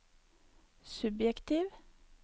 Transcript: subjektiv